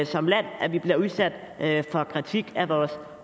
som land at vi bliver udsat for kritik af vores